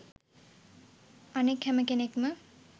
අනෙක් හැම කෙනෙක්ම